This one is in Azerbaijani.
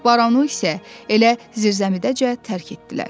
Baronu isə elə zirzəmidəcə tərk etdilər.